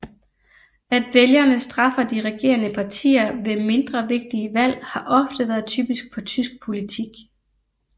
At vælgerne straffer de regerende partier ved mindre vigtige valg har ofte været typisk for tysk politik